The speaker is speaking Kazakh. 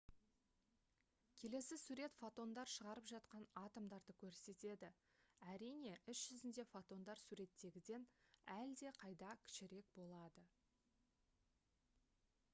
келесі сурет фотондар шығарып жатқан атомдарды көрсетеді әрине іс жүзінде фотондар суреттегіден әлдеқайда кішірек болады